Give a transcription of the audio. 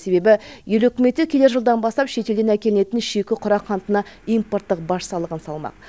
себебі ел үкіметі келер жылдан бастап шетелден әкелінетін шикі құрақ қантына импорттық баж салығын салмақ